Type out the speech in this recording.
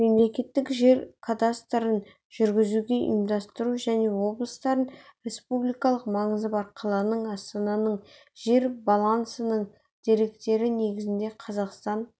мемлекеттік жер кадастрын жүргізуді ұйымдастыру және облыстардың республикалық маңызы бар қаланың астананың жер балансының деректері негізінде қазақстан